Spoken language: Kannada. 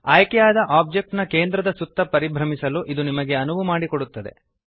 ಆಯ್ಕೆಯಾದ ಆಬ್ಜೆಕ್ಟ್ ನ ಕೇಂದ್ರದ ಸುತ್ತ ಪರಿಭ್ರಮಿಸಲು ಇದು ನಿಮಗೆ ಅನುವು ಮಾಡಿಕೊಡುತ್ತದೆ